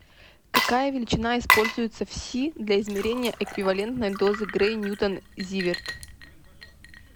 какая величина используется в си для измерения эквивалентной дозы грей ньютон зиверт